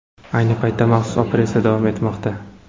Ayni paytda maxsus operatsiya davom etmoqda.